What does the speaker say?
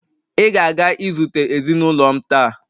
Ị ga-aga izute ezinụlọ m taa!